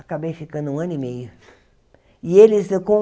Acabei ficando um ano e meio. E eles com